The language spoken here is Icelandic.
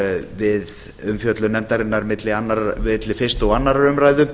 við umfjöllun nefndarinnar milli fyrstu og annarrar umræðu